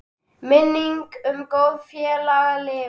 Minning um góðan félaga lifir.